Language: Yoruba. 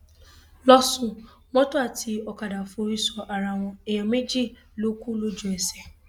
lọsùn mọtò àti ọkadà forí sọ ara wọn èèyàn méjì ló kù lójú ẹsẹ